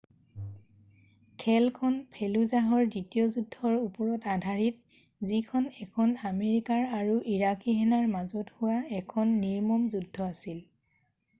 খেলখন ফেলুজাহৰ দ্বিতীয় যুদ্ধৰ ওপৰত আধাৰিত যিখন এখন আমেৰিকাৰ আৰু ইৰাকী সেনাৰ মাজত হোৱা এখন নিৰ্মম যুদ্ধ আছিল